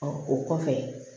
Ɔ o kɔfɛ